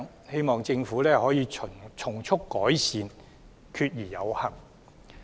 希望政府可以從速改善，決而有行。